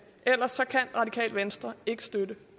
ellers kan radikale venstre ikke støtte